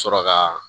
Sɔrɔ ka